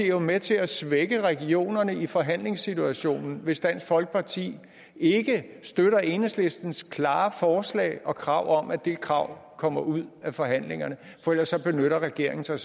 er jo med til at svække regionerne i forhandlingssituationen hvis dansk folkeparti ikke støtter enhedslistens klare forslag og krav om at det krav kommer ud af forhandlingerne for ellers benytter regeringen sig